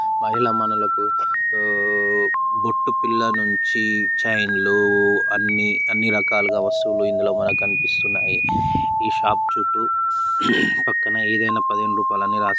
మహిళా మణులకు ఊ బొట్టుపిల్ల నుంచి చైన్ లూ అన్నీ అన్ని రకాలుగా వస్తువులు ఇందులో మనకు కన్పిస్తున్నాయి. ఈ షాప్ చుట్టూ పక్కన ఏదైనా పదిహేను రూపాలే అని రాసి.